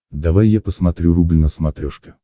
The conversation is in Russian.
давай я посмотрю рубль на смотрешке